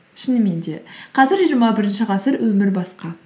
шынымен де қазір жиырма бірінші ғасыр өмір басқа